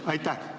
Aitäh!